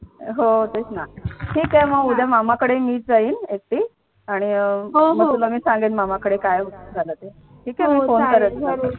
हो तेच ना ठीक आहे मग उदय मामाकडे मीच जाईन एकटी आणि अह मग तुला मी सांगेन मामाकडे काय झालं ते ठीक आहे मी फोन करेन तुला